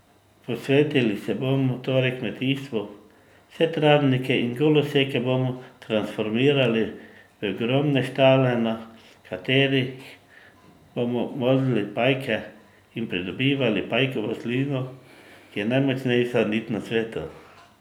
Posvetili se bomo torej kmetijstvu, vse travnike in goloseke bomo transformirali v ogromne štale, na katerih bomo molzli pajke in pridobivali pajkovo slino, ki je najmočnejša nit na svetu.